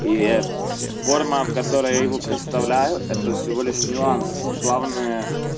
и форма в которой я его представляю это всего лишь нюанс главное